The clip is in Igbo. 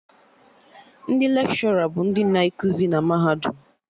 Ndị Lekshọra bụ ndị na ekuzi na mahadum